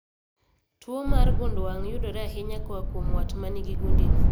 Tuo mar gund wang' yudore ahinya koa kuom wat manigi gundi no